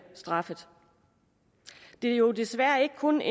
straffet det er jo desværre ikke kun